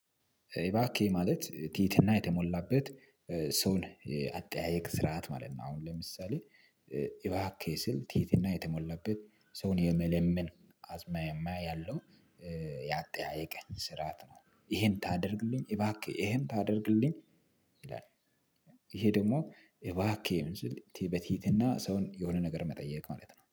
እባክህን ማለት ትህትና የተሞላበት ሰውን አጠያየቅ ስርዓት ማለት ነው። አሁን ለምሳሌ እባክ ህ ስል ትህትና የተሞላበት ሰውን የመለመን አዝማሚያ ያለው ያጣየቀኝ ስራት ነው። ይሄን ታደርግልኝ እባክህ ይሄን ታደርግልኝ ይላል። ይሄ ደግሞ እባክህ ምንድነው? በትህትና ሰውን የሆነ ነገር መጠየቅ ማለት ነው